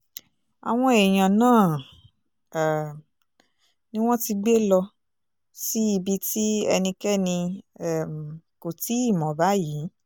àwọn èèyàn náà um ni wọ́n ti gbé lọ sí ibi tí ẹnikẹ́ni um kò tí ì mọ̀ báyìí